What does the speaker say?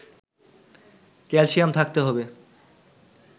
calcium থাকতে হবে